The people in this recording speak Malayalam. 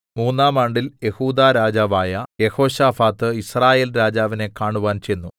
മൂന്നാം ആണ്ടിൽ യെഹൂദാ രാജാവായ യെഹോശാഫാത്ത് യിസ്രായേൽരാജാവിനെ കാണുവാൻ ചെന്നു